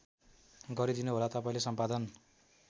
गरीदिनुहोला तपाईँले सम्पादन